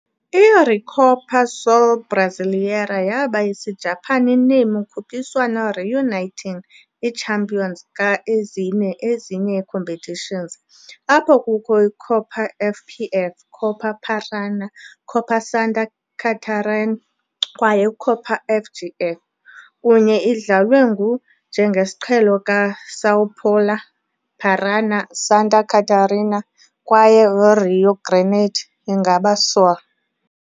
I - Recopa Sul-Brasileira yaba Isijapani name ukhuphiswano reuniting i-champions ka-ezine ezinye competitions, apho kukho Copa FPF, Copa Paraná, Copa Santa Catarina kwaye Copa FGF, kunye idlalwe ngu njengesiqhelo ka - São Paulo, Paraná, Santa Catarina kwaye Rio Grande ingaba Sul.